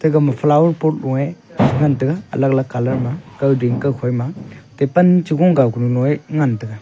ega ma flower port nuye ngan taiga alag lag colour kow ding kow khoi ma tipan chu kow gugu nuye ngan taiga.